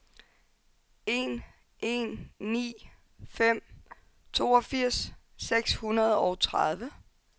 en en ni fem toogfirs seks hundrede og tredive